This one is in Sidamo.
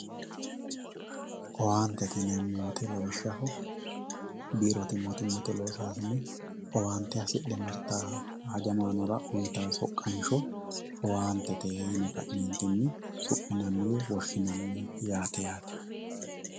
owaantete yineemmo woyiite lawishshaho biirote mootimmate losaasine owaante hasidhe martawo hajamaanora uyitawo soqqansho owaantete yine ka'neentinni su'minanni woyi woshshinanni yaate yaate